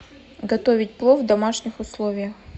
готовить плов в домашних условиях